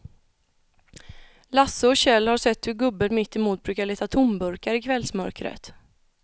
Lasse och Kjell har sett hur gubben mittemot brukar leta tomburkar i kvällsmörkret.